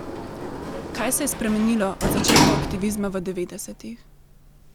Kaj se je spremenilo od začetkov aktivizma v devetdesetih?